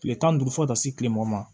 Kile tan ni duuru fo ka taa se kile mugan ma